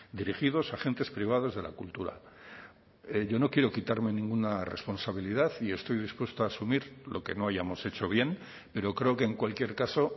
dirigidos a agentes privados de la cultura yo no quiero quitarme ninguna responsabilidad y estoy dispuesto a asumir lo que no hayamos hecho bien pero creo que en cualquier caso